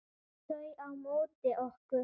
Þau á móti okkur.